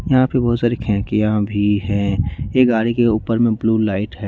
यहां पे बहुत सारी खेकिया भी हैं ये गाड़ी के ऊपर में ब्लू लाइट है।